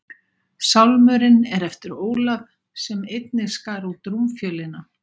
Sálmurinn er eftir Ólaf, sem einnig skar út rúmfjölina.